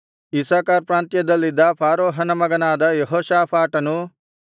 Issachar ಪ್ರಾಂತ್ಯದಲ್ಲಿದ್ದ ಫಾರೂಹನ ಮಗನಾದ ಯೆಹೋಷಾಫಾಟನು